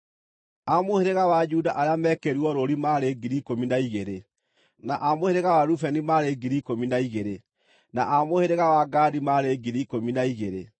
A mũhĩrĩga wa Juda arĩa meekĩrirwo rũũri maarĩ 12,000, na a mũhĩrĩga wa Rubeni maarĩ 12,000, na a mũhĩrĩga wa Gadi maarĩ 12,000,